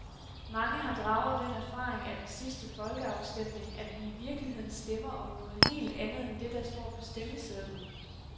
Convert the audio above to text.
Mange har draget den erfaring af den sidste folkeafstemning, at vi i virkeligheden stemmer om noget helt andet end det, der står på stemmesedlen.